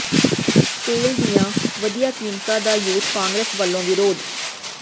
ਤੇਲ ਦੀਆਂ ਵਧੀਆਂ ਕੀਮਤਾਂ ਦਾ ਯੂਥ ਕਾਂਗਰਸ ਵਲੋਂ ਵਿਰੋਧ